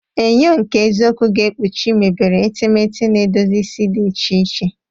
Enyo nke eziokwu ga-ekpuchi mebere etemeete na edozi isi di iche iche.